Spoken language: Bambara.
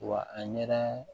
Wa a ɲɛ